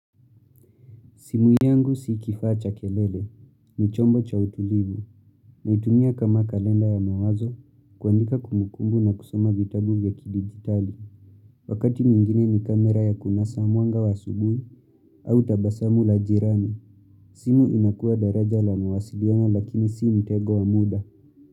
Simu yangu si kifaa cha kelele, ni chombo cha utulivu naitumia kama kalenda ya mawazo, kuandika kumbukumbu na kusoma vitabu vya kidigitali Wakati mwingine ni kamera ya kunasa mwanga wa asubuhi au tabasamu la jirani simu inakua daraja la mawasiliano lakini si mtego wa muda.